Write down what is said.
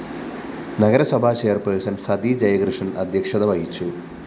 നഗരസഭാ ചെയർപേഴ്സൺ സതി ജയകൃഷ്ണന്‍ അദ്ധ്യക്ഷത വഹിച്ചു